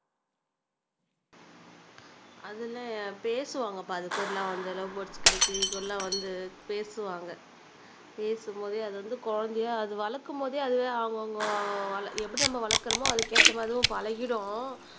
அதுல்லாம் பேசுவாங்கப்பா அதுகூட எல்லாம் வந்து லவ் பேர்ட்ஸ், கிளிகூட எல்லாம் வந்து பேசுவாங்க பேசும்போதே அது வந்து குழந்தையா அது வழக்கும்போதே அதுவே அவங்க அவங்க எப்படி நம்ம வழக்குரோமோ அதுக்கு ஏத்தமாதிரி பழகிடும்